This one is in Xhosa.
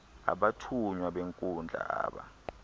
abathunywa benkundla aba